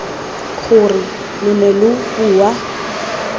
gore lo ne lo bua